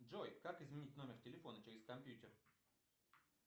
джой как изменить номер телефона через компьютер